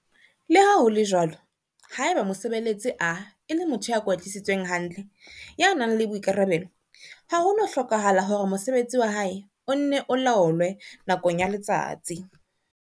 Le ha ho le jwalo, haeba mosebeletsi A e le motho ya kwetlisitsweng hantle, ya nang le boikarabelo, ha ho no hlokahala hore mosebetsi wa hae o nne o laolwe nakong ya letsatsi.